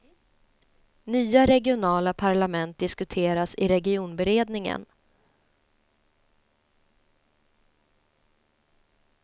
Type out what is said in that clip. Nya regionala parlament diskuteras i regionberedningen.